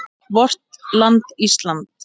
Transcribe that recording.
VORT LAND ÍSLAND